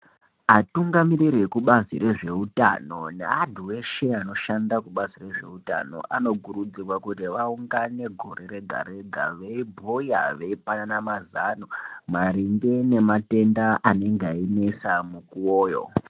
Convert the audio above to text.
Atungamiriri ekubazi rezveutano neantu eshe anoshanda kubazi rezveutano anokurudzirwa kuti vaungane gore rega-rega. Veibhuya veipanana mazano maringe nematenda anenge einesa mukuvoyo.